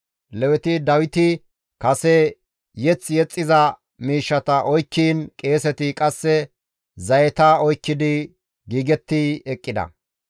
Leweti Dawiti kase mazamure yexxiza miishshata oykkiin qeeseti qasse zayeta oykkidi giigetti eqqida.